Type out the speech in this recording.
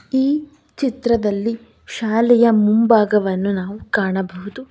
ಈ ಚಿತ್ರದಲ್ಲಿ ಶಾಲೆಯ ಮುಂಭಾಗವನ್ನು ನಾವು ಕಾಣಬಹುದು.